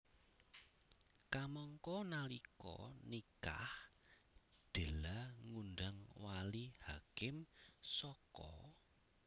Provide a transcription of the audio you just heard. Kamangka nalika nikah Della ngundang wali hakim saka